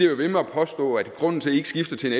ved med at påstå at grunden til at i ikke skifter til